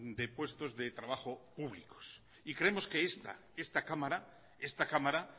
de puestos de trabajo públicos creemos que esta cámara